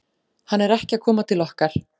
Hann er ekki að koma til okkar.